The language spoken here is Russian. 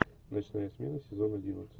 ночная смена сезон одиннадцать